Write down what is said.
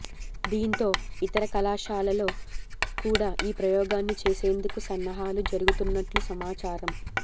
దీంతో ఇతర కళాశాలల్లో కూడా ఈ ప్రయోగాన్ని చేసేందుకు సన్నాహాలు జరుగుతున్నట్లు సమాచారం